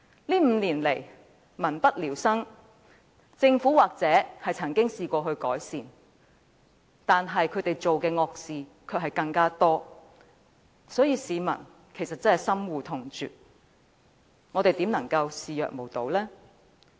這5年來民不聊生，政府也許亦曾嘗試改善，但它所做的惡事更多，市民深惡痛絕，我們又怎能視若無睹？